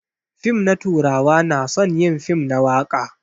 Fim na turawa na son yin fim na waka.